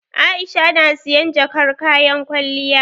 Aisha na sayan jakar kayan kwalliya.